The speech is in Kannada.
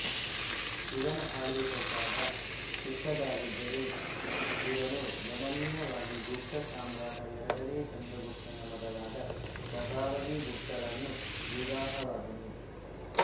ಇವನ ಆಳ್ವಿಕೆ ಕಾಲ ಚಿಕ್ಕದಾಗಿದ್ದರೂ ಇವನು ಗಮನೀಯವಾಗಿ ಗುಪ್ತ ಸಾಮ್ರಾಟ ಎರಡನೇ ಚಂದ್ರಗುಪ್ತನ ಮಗಳಾದ ಪ್ರಭಾವತಿಗುಪ್ತಳನ್ನು ವಿವಾಹವಾದನು